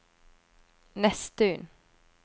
Nesttun